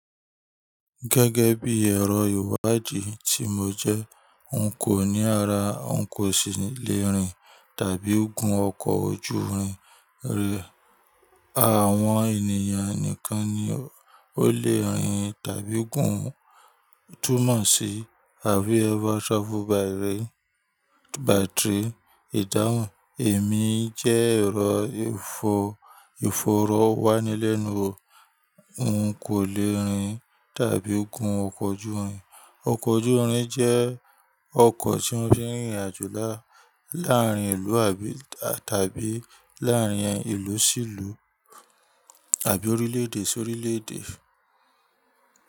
Gẹ́gẹ́ bí ẹ̀rọ ìwádìí tí mo jẹ́, n kò ní ara, n kò sì le rìn tàbí gun ọkọ̀ ojúrin rẹ. Àwọn ènìyàn nìkan ni ó le rìn tàbí gún un túmọ̀ sí have ever travel by rail by train. Ìdáhùn, èmi jẹ́ ẹ̀rọ ìfọrọ wá nílẹ̀nu o. N kò le rìn tàbí gun ọkọ̀ ojúrin. Ọkọ̀ ojúrin jẹ́ ọkọ̀ tí wọ́n fi ń rìnrìn àjò láàárín ìlú tàbí láàárín ìlú sí ìlú àbí orílẹ̀èdè sí orílẹ̀èdè.